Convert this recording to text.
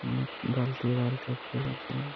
অনেক বালতি বালতি পোল আছে ।